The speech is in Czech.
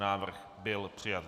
Návrh byl přijat.